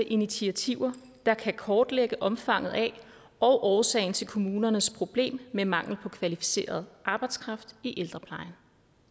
initiativer der kan kortlægge omfanget af og årsagen til kommunernes problem med mangel på kvalificeret arbejdskraft i ældreplejen